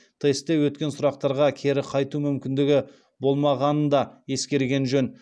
тестте өткен сұрақтарға кері қайту мүмкіндігі болмағанын да ескерген жөн